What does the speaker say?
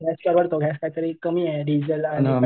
गॅसचं वापरतो गॅसला कमी आहे डिझेलला